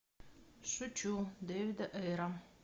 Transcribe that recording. шучу дэвида эйра